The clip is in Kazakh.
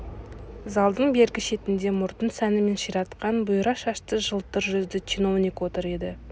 залдың бергі шетінде мұртын сәнімен ширатқан бұйра шашты жылтыр жүзді чиновник отыр еді